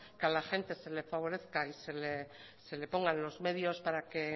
que a la gente se le favorezca y se le pongan los medios para que